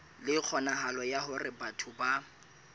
le kgonahalo ya hore batho